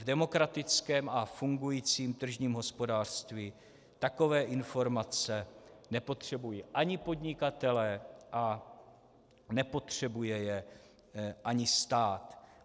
V demokratickém a fungujícím tržním hospodářství takové informace nepotřebují ani podnikatelé a nepotřebuje je ani stát.